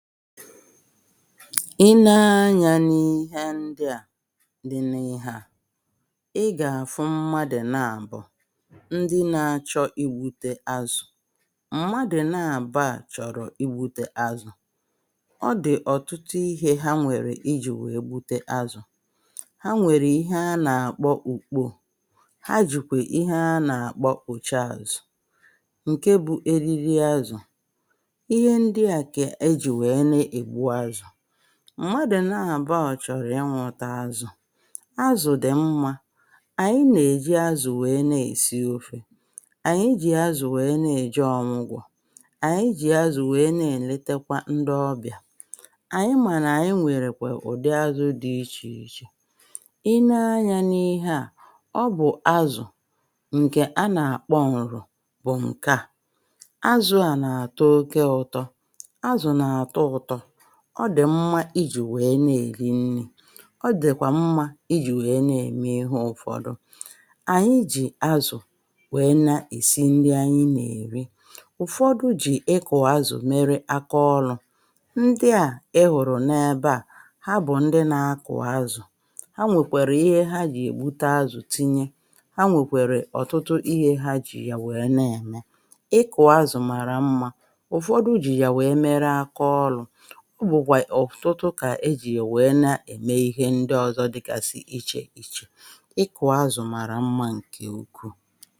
i ne-anya n’ihe ndi à di na ihe à ị gà-àfụ mmadụ na abụ ndi na-achọ i bute azụ̀ mmadụ̀ naàba à chọ̀rọ̀ i bute azụ̀ ọ dị̀ ọ̀tụtụ ihe ha nwèrè ijì wèe bute azụ̀ ha nwèrè ihe anà-àkpọ ùkpò ha jìkwè ihe anà-àkpọ pùchaàzụ̀ ǹke bụ̇ eriri azụ̀ m̀madụ̀ na àbọ́ ọ̀ chọ̀rọ̀ ịnwụ̇tȧ azụ̀ azụ̀ dì mmȧ ànyị nà-èji azụ̀ wèe na-èsi ofè ànyị jì azụ̀ wèe na-èji ọ̀gwụ̀gwọ̀ ànyị jì azụ̀ wèe na-èletekwa ndi ọbịà ànyị mànà ànyị nwèrèkwà ụ̀dị azụ̇ dị ichè ichè i nee anyȧ n’ihe à ọ bụ̀ azụ̀ ǹkè a nà-àkpọ ǹrù bụ̀ ǹke à ọ dị̀ mmȧ ijì wèe na-èri nni̇ ọ dị̀kwà mmȧ ijì wèe na-ème ihe ụ̀fọdụ ànyi jì azụ̀ wèe na-èsi ndị anyị nà-èri ụ̀fọdụ jì ịkọ̀zọ̀ mere akaọlụ̇ ndị à ị hụ̀rụ̀ n’ebe à ha bụ̀ ndị na-akụ̀ azụ̀ ha nwèkwèrè ihe ha jì ègbute azụ̀ tinye ha nwèkwèrè ọ̀tụtụ ihe ha jì yà wèe na-ème ịkọ̀zọ̀ mara mmȧ ụ̀fọdụ jì yà wèe mere akaọlụ̇ ọ bụ̀kwà ọ̀fụtụtụ kà ejì yà wèe na-ème ihe ndị ọzọ dịkà sì ichè ichè ịkụ̀ azụ̀ marà mmȧ ǹkè ukwuu